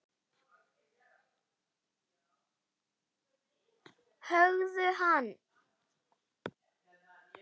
Höggðu hann!